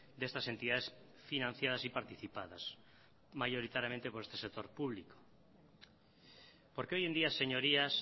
de estas entidades financiadas y participadas mayoritariamente por este sector público porque hoy en día señorías